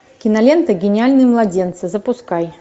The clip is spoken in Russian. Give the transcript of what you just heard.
кинолента гениальные младенцы запускай